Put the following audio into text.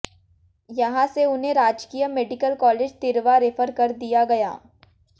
यहां से उन्हें राजकीय मेडिकल कालेज तिर्वा रेफर कर दिया गया